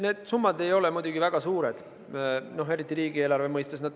Need summad ei ole muidugi väga suured, eriti riigieelarve mõistes.